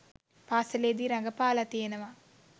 පාස‍ලේදී රඟපාලා තියෙනවා